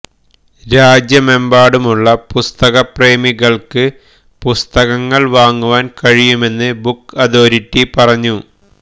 രാജ്യമെമ്പാടുമുള്ള പുസ്തക പ്രേമികൾക്ക് പുസ്തകങ്ങൾ വാങ്ങുവാൻ കഴിയുമെന്ന് ബുക്ക് അതോറിറ്റി പറഞ്ഞു